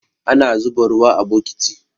Ana zuba ruwa a bokiti